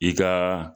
I ka